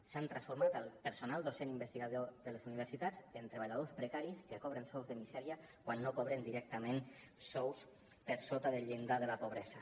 s’ha transformat el personal docent investigador de les universitats en treballadors precaris que cobren sous de misèria quan no cobren directament sous per sota del llindar de la pobresa